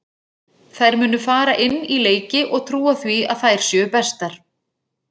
Þær munu fara inn í leiki og trúa því að þær séu bestar.